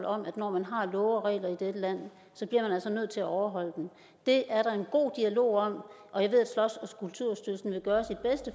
om at når man har love og regler i dette land så bliver man nødt til at overholde dem det er der en god dialog om og jeg ved at slots